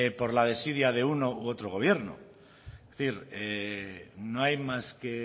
por la desidia de uno u otro gobierno es decir no hay más que